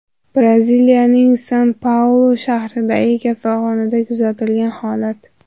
Braziliyaning San-Paulu shahridagi kasalxonada kuzatilgan holat.